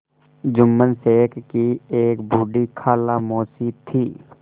जुम्मन शेख की एक बूढ़ी खाला मौसी थी